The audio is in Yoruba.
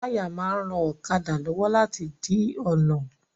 Táyà máa ń ran ọ̀kadà lọ́wọ́ láti di ọ̀nà